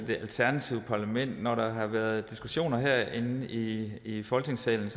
det alternative parlament når der har været diskussioner herinde i i folketingssalen